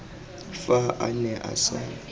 fa a ne a sa